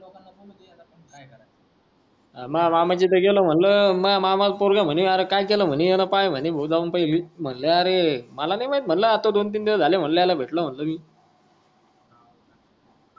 मामाच इथे गेलो म्हणलं मह मामा पोरगी ला म्हणे अरे काय केल म्हणे याला पाय म्हणे म्हणलं अरे मला नाय आत्ता दोन तीन दिवस झालं म्हंटल याला भेटलो म्हणलं मी